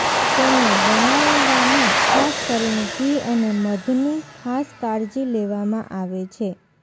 તેને બનાવવામાં ખાસ કરીને ઘી અને મધની ખાસ કાળજી લેવામાં આવે છે